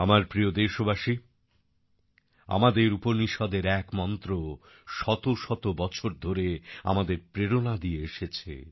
আমার প্রিয় দেশবাসী আমাদের উপনিষদের এক মন্ত্র শত শত বছর ধরে আমাদের প্রেরণা দিয়ে এসেছে